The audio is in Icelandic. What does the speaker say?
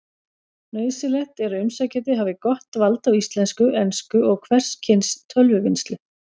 Nauðsynlegt er að umsækjandi hafi gott vald á íslensku, ensku og hvers kyns tölvuvinnslu.